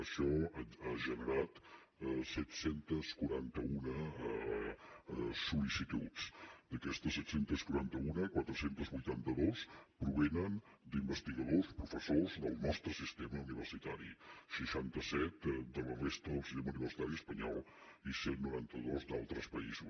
això ha generat set cents i quaranta un sol·licituds d’aquestes set cents i quaranta un quatre cents i vuitanta dos provenen d’investigadors professors del nostre sistema universitari seixanta set de la resta del sistema universitari espanyol i cent i noranta dos d’altres països